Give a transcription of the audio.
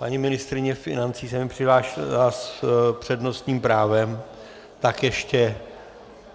Paní ministryně financí se mi přihlásila s přednostním právem, tak ještě